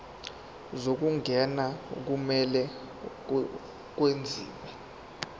zokungena kumele kwenziwe